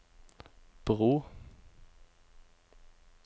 bro